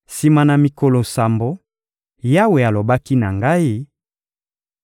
Sima na mikolo sambo, Yawe alobaki na ngai: